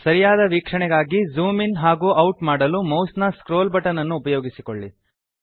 ಸರಿಯಾದ ವೀಕ್ಷಣೆಗಾಗಿ zoom in ಹಾಗೂ ಔಟ್ ಮಾಡಲು ಮೌಸ್ ನ ಸ್ಕ್ರೊಲ್ ಬಟನ್ ಅನ್ನು ಉಪಯೋಗಿಸಿಕೊಳ್ಳಿ